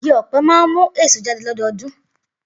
Igi ọ̀pẹ máa ń mú èso jáde lọ́dọọdún.